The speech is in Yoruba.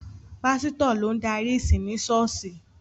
Pásítọ̀ ló ń darí ìsìn ni ṣọ́ọ̀ṣì.